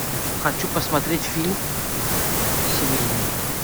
хочу посмотреть фильм семейный